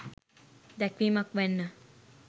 දැක්වීමක් වැන්න.